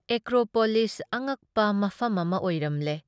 Acropolis ꯑꯉꯛꯄ ꯃꯐꯝ ꯑꯃ ꯑꯣꯢꯔꯝꯂꯦ ꯫